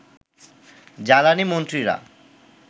জ্বালানি মন্ত্রীরা